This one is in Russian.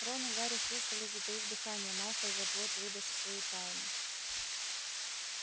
рон и гарри слушали затаив дыхание малфой вот-вот выдаст свою тайну